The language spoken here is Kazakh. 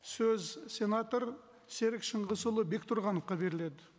сөз сенатор серік шыңғысұлы бектұрғановқа беріледі